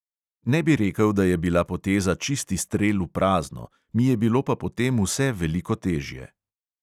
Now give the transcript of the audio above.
Ne bi rekel, da je bila poteza čisti strel v prazno, mi je bilo pa po tem vse veliko težje.